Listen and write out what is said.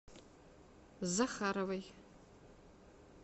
захаровой